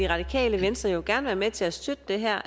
radikale venstre jo gerne være med til at støtte det her